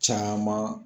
Caman